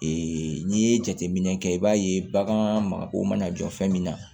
n'i ye jateminɛ kɛ i b'a ye bagan mago mana jɔ fɛn min na